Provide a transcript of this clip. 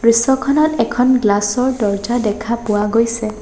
দৃশ্যখনত এখন গ্লাছ ৰ দৰ্জ্জা দেখা পোৱা গৈছে।